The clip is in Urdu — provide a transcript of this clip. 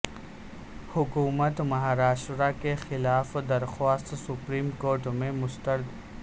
حکومت مہاراشٹرا کے خلاف درخواست سپریم کورٹ میں مسترد